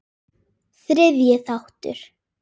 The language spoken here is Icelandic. Þriðji þáttur